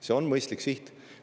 See on mõistlik siht.